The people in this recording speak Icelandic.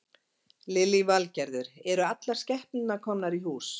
Lillý Valgerður: Eru allar skepnurnar komnar í hús?